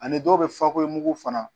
Ani dɔw bɛ fako mugu fana